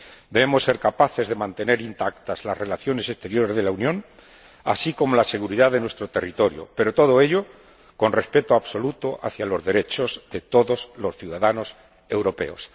Debemos ser capaces de mantener intactas las relaciones exteriores de la Unión, así como la seguridad de nuestro territorio, pero todo ello con respeto absoluto hacia los derechos de todos los ciudadanos europeos.